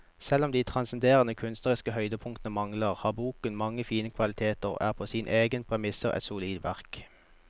Selv om de transcenderende kunstneriske høydepunktene mangler, har boken mange fine kvaliteter og er på sine egne premisser et solid verk.